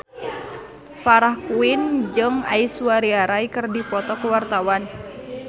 Farah Quinn jeung Aishwarya Rai keur dipoto ku wartawan